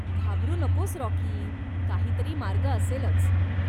घाबरू नकोस राॅकी. काहीतरी मार्ग असेलच.